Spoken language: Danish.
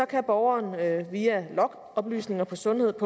kan borgeren via logoplysninger på sundheddk